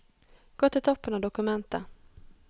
Gå til toppen av dokumentet